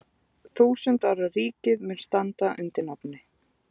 Þúsund ára ríkið mun standa undir nafni.